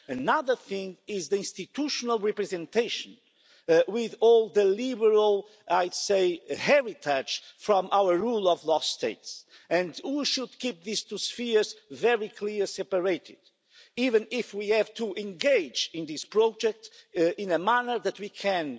Another thing is institutional representation, with all the liberal heavy touch from our rule-of-law states and we should keep these two spheres very clearly separated, even if we have to engage in this project in a manner that we can